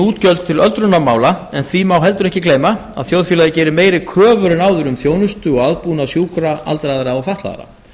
útgjöld til öldrunarmála en því má heldur ekki gleyma að þjóðfélagið gerir meiri kröfur en áður um þjónustu og aðbúnað sjúkra aldraðra og fatlaðra